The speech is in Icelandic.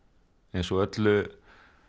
eins og öllu